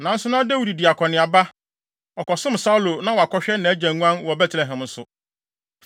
nanso na Dawid di akɔneaba; ɔkɔsom Saulo na wakɔhwɛ nʼagya nguan wɔ Betlehem nso.